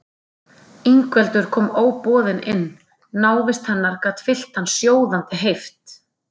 Ingveldur kom óboðin inn, návist hennar gat fyllt hann sjóðandi heift.